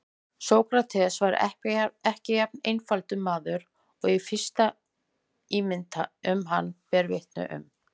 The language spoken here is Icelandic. Sókrates var ekki jafn einfaldur maður og fyrsta ímyndin um hann ber vitni um.